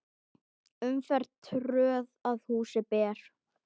Umferð tröð að húsi ber.